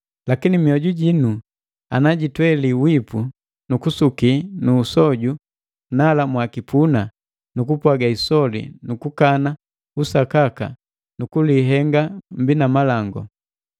Lakini mioju jinu ana jitweli wipu nu kusuki nu usoju, nala mwakipuna nu kupwaga isoli nukukana usakaka nukulihenga mbii na malangu.